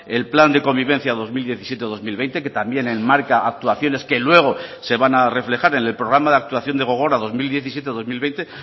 el plan de convivencia dos mil diecisiete dos mil veinte que también enmarca actuaciones que luego se van a reflejar en el programa de actuación de gogora dos mil diecisiete dos mil veinte